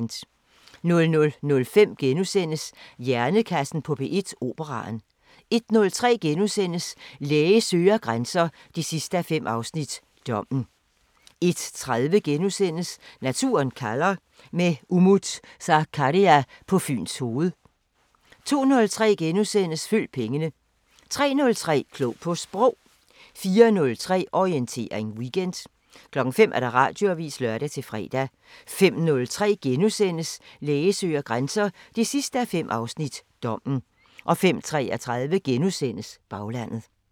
00:05: Hjernekassen på P1: Operaen * 01:03: Læge søger grænser 5:5 – Dommen * 01:30: Naturen kalder – med Umut Sakarya på Fyns Hoved * 02:03: Følg pengene * 03:03: Klog på Sprog 04:03: Orientering Weekend 05:00: Radioavisen (lør-fre) 05:03: Læge søger grænser 5:5 – Dommen * 05:33: Baglandet *